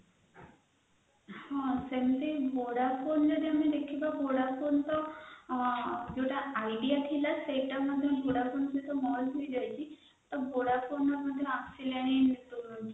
ହ ସେମିତି vodafone ର ବି ଦେଖିବାକୁ ଗଲେ ତ ଆଗରୁ ଯୌଟା idea ଥିଲା ସେଇତା vodafone ସାଙ୍ଗରେ merge ହେଇଯାଇଛି ତ vodafone ର ଆସିନାହି network